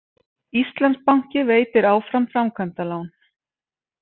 Íslandsbanki veitir áfram framkvæmdalán